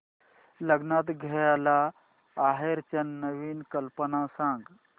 लग्नात द्यायला आहेराच्या नवीन कल्पना सांग